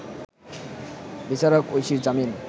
বিচারক ঐশীর জামিন